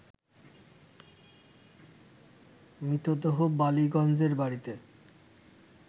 মৃতদেহ বালিগঞ্জের বাড়িতে